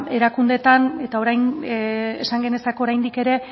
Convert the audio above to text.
erakundeetan eta orain esan genezake oraindik ere